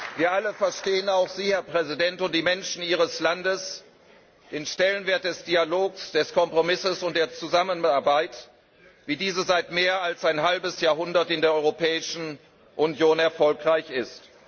Wir alle verstehen, auch Sie, Herr Präsident, und die Menschen Ihres Landes, den Stellenwert des Dialogs, des Kompromisses und der Zusammenarbeit, wie diese seit mehr als einem halben Jahrhundert in der Europäischen Union erfolgreich ist.